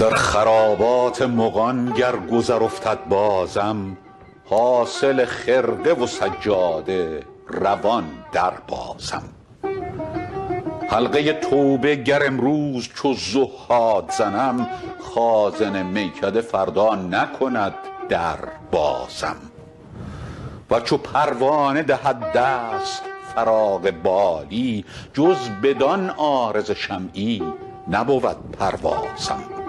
در خرابات مغان گر گذر افتد بازم حاصل خرقه و سجاده روان دربازم حلقه توبه گر امروز چو زهاد زنم خازن میکده فردا نکند در بازم ور چو پروانه دهد دست فراغ بالی جز بدان عارض شمعی نبود پروازم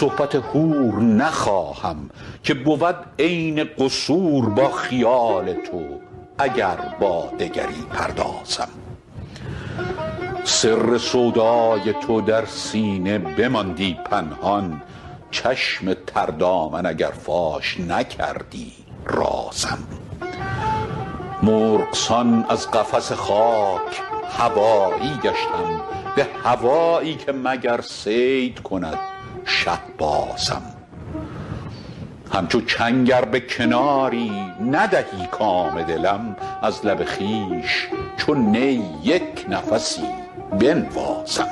صحبت حور نخواهم که بود عین قصور با خیال تو اگر با دگری پردازم سر سودای تو در سینه بماندی پنهان چشم تر دامن اگر فاش نکردی رازم مرغ سان از قفس خاک هوایی گشتم به هوایی که مگر صید کند شهبازم همچو چنگ ار به کناری ندهی کام دلم از لب خویش چو نی یک نفسی بنوازم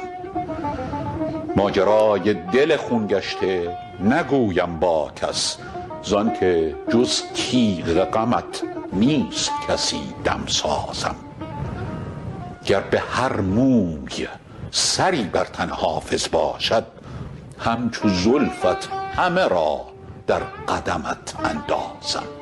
ماجرای دل خون گشته نگویم با کس زان که جز تیغ غمت نیست کسی دمسازم گر به هر موی سری بر تن حافظ باشد همچو زلفت همه را در قدمت اندازم